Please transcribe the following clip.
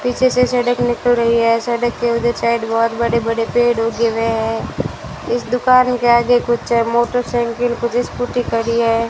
पीछे से सड़क निकल रही है सड़क के ओ-जो साइड बहोत बड़े-बड़े पेड़ उगे हुए है इस दुकान के आगे कुछ मोटरसाइकिल कुछ स्कूटी खड़ी है।